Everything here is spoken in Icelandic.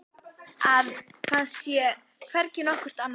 Að það sé hvergi nokkurt annað hold.